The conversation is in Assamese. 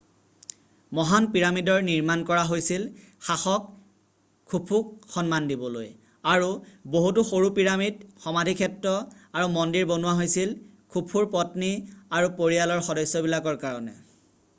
মহান পিৰামিডৰ নিৰ্মান কৰা হৈছিল শাসক খুফুক সন্মান দিবলৈ আৰু বহুতো সৰু পিৰামিড সমাধিক্ষেত্ৰ আৰু মন্দিৰ বনোৱা হৈছিল খুফুৰ পত্নী আৰু পৰিয়ালৰ সদস্যবিলাকৰ কাৰণে